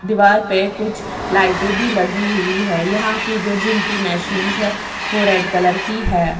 दीवार पे कुछ लाइटें भी लगी हुई हैं यहाँ की जो जिम की मैशिन्स हैं वो रेड कलर की है।